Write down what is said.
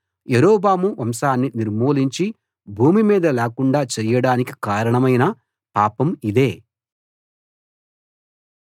యరొబాము వంశాన్ని నిర్మూలించి భూమి మీద లేకుండా చేయడానికి కారణమైన పాపం ఇదే